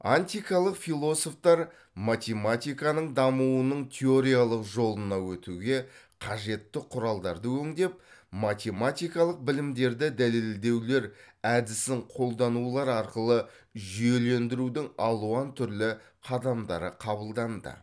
антикалық философтар математиканың дамуының теориялық жолына өтуге қажетті құралдарды өңдеп математикалық білімдерді дәлелдеулер әдісін қолданулар арқылы жүйелендірудің алуан түрлі қадамдары қабылданды